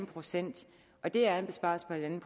procent det er en besparelse på en en